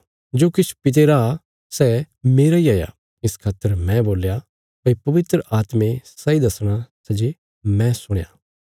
जो किछ पिता रा सै मेरा इ हया इस खातर मैं बोल्या भई पवित्र आत्मे सैई दसणा सै जे मैं सुणया